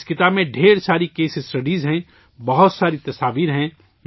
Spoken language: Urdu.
اس کتاب میں ڈھیر ساری کیس اسٹڈیز ہیں، بہت ساری تصویریں ہیں